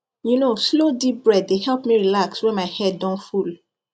you know slow deep breath dey help me relax when my head don full